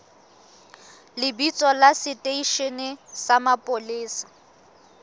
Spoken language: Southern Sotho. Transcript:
lebitso la seteishene sa mapolesa